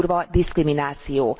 Durva diszkrimináció.